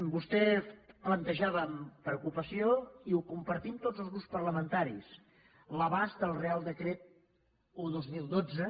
vostè plantejava amb preocupació i ho compartim tots els grups parlamentaris l’abast del reial decret un dos mil dotze